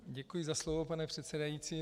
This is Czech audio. Děkuji za slovo, pane předsedající.